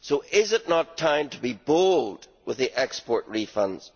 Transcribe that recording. Is it not time to be bold with the export refunds?